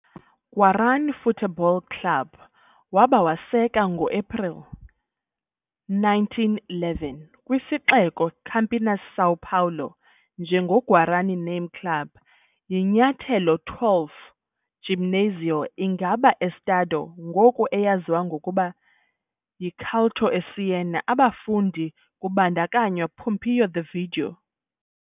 Guarani Futebol Clube waba waseka ngoaprili 1, 1911, kwisixeko Campinas, São Paulo, njengoko Guarany Name Club, yi-nyathelo 12 Gymnasio ingaba Estado, ngoku eyaziwa ngokuba Culto à Ciência, abafundi, kubandakanywa Pompeo de Vito